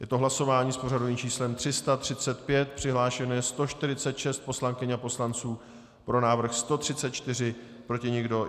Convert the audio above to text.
Je to hlasování s pořadovým číslem 335, přihlášeno je 146 poslankyň a poslanců, pro návrhu 134, proti nikdo.